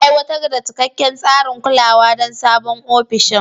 Aiwatar da cikakken tsarin kulawa don sabon ofishin.